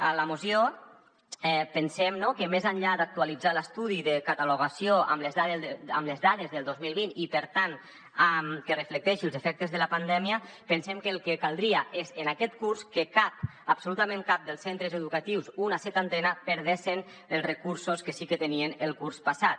a la moció pensem que més enllà d’actualitzar l’estudi de catalogació amb les dades del dos mil vint i per tant que reflecteixi els efectes de la pandèmia pensem que el que caldria és en aquest curs que cap absolutament cap dels centres educatius una setantena perdessen els recursos que sí que tenien el curs passat